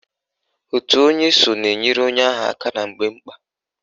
Òtù onye so na-enyere onwe ha aka na mgbe mkpa